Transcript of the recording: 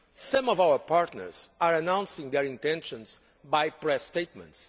Some of our partners are announcing their intentions by press statements